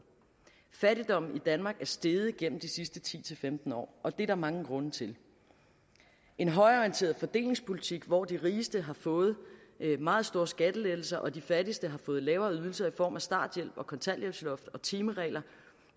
fattigdommen i danmark er steget gennem de sidste ti til femten år og det er der mange grunde til en højreorienteret fordelingspolitik hvor de rigeste har fået meget store skattelettelser og de fattigste har fået lavere ydelser i form af starthjælp og kontanthjælpsloft og timeregler